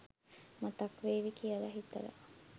මතක් වේවි කියලා හිතලා.